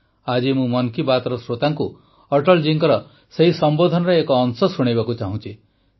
ଆଜି ମୁଁ ମନ୍ କୀ ବାତ୍ର ଶ୍ରୋତାଙ୍କୁ ଅଟଳ ଜୀଙ୍କ ସେହି ସମ୍ବୋଧନର ଏକ ଅଂଶ ଶୁଣାଇବାକୁ ଚାହୁଁଛି